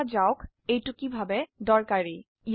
দেখা যাক এটি কিভাবে দৰকাৰী